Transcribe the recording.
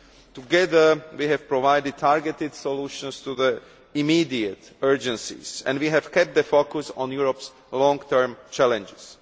Together, we have provided targeted solutions to immediate urgencies, and we have kept the focus on Europe's long term challenges.